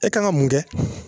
E kan ka mun kɛ